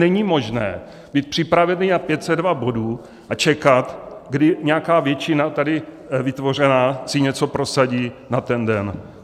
Není možné být připravený na 502 bodů a čekat, kdy nějaká většina tady vytvořená si něco prosadí na ten den.